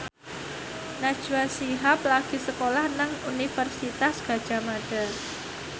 Najwa Shihab lagi sekolah nang Universitas Gadjah Mada